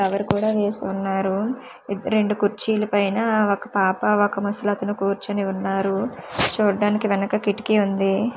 Power కూడా వేసి వున్నారు రెండు కుర్చీల పైన ఒక పాప ఒక ముసలతను కూర్చొని వున్నారు చూడ్డానికి వెనక కిటికీ వుంది.